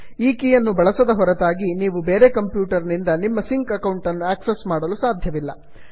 ಈ ಕೀಯನ್ನು ಬಳಸದ ಹೊರತಾಗಿ ನೀವು ಬೇರೆ ಕಂಪ್ಯೂಟನಿಂದ ನಿಮ್ಮ ಸಿಂಕ್ ಅಕೌಂಟನ್ನು ಆಕ್ಸಸ್ ಮಾಡಲು ಸಾಧ್ಯವಿಲ್ಲ